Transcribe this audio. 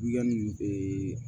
Yanni ee